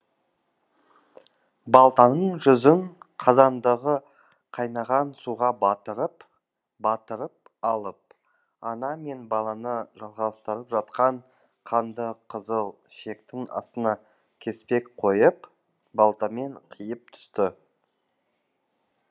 балтаның жүзін қазандағы қайнаған суға батырып батырып алып ана мен баланы жалғастырып жатқан қанды қызыл шектің астына кеспек қойып балтамен қиып түсті